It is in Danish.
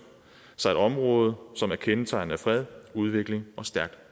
sig et område som er kendetegnet af fred udvikling og stærkt